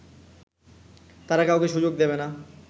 তারা কাউকে সুযোগ দেবে না